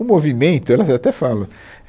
O movimento, elas até falam.